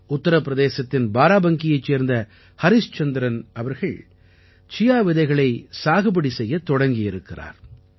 உத்திரப்பிரதேசத்தின் பாராபங்கியைச் சேர்ந்த ஹரிஸ்சந்திரன் அவர்கள் சியா விதைகளைச் சாகுபடி செய்யத் தொடங்கியிருக்கிறார்